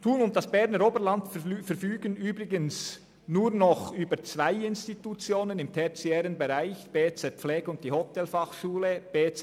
Thun und das Berner Oberland verfügen übrigens nur noch über zwei Institutionen im tertiären Bereich: das Berner Bildungszentrum Pflege (BZ Pflege) und die Hotelfachschule Thun.